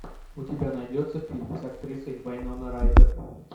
у тебя найдется фильм с актрисой вайнона райдер